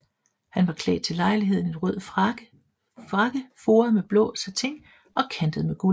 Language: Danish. Han var klædt til lejligheden i en rød frak foret med blåt satin og kantet med guld